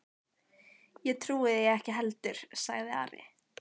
Ég trúi því ekki heldur, sagði Ari.